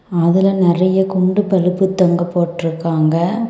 அதுல நெறைய குண்டு பல்பு தொங்க போட்டுருக்காங்க.